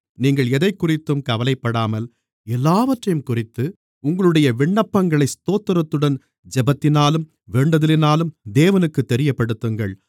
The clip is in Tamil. நீங்கள் எதைக்குறித்தும் கவலைப்படாமல் எல்லாவற்றையும்குறித்து உங்களுடைய விண்ணப்பங்களை ஸ்தோத்திரத்துடன் ஜெபத்தினாலும் வேண்டுதலினாலும் தேவனுக்குத் தெரியப்படுத்துங்கள்